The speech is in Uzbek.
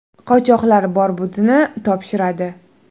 Qochoqlar bor budini topshiradi.